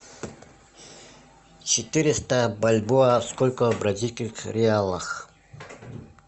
четыреста бальбоа сколько в бразильских реалах